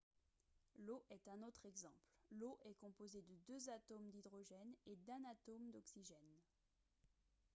l'eau est un autre exemple l'eau est composée de deux atomes d'hydrogène et d'un atome d'oxygène